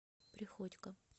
приходько